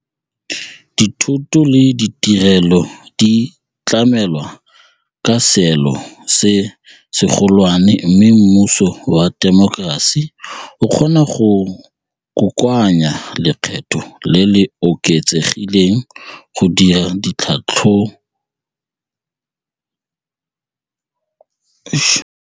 Dithoto le ditirelo di tlamelwa ka seelo se segolwane mme mmuso wa temokerasi o kgona go kokoanya lekgetho le le oketsegileng go dira ditlhabololo tsa loago.